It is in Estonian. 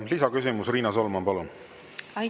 Lisaküsimus, Riina Solman, palun!